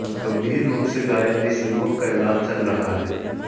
गंभीर रूप से घायल इस युवक का इलाज चल रहा है